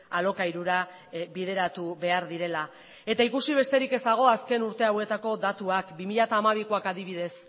alokairura bideratu behar direla eta ikusi besterik ez dago azken urte hauetako datuak bi mila hamabikoak adibidez